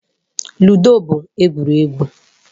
Ludo bụ egwuregwu.